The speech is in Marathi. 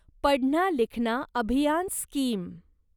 पढना लिखना अभियान स्कीम